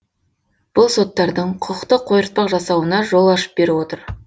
бұл соттардың құқықтық қойыртпақ жасауына жол ашып беріп отыр